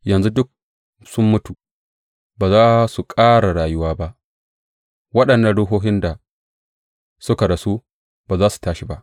Yanzu duk sun mutu, ba za su ƙara rayuwa ba; waɗannan ruhohin da suka rasu ba za su tashi ba.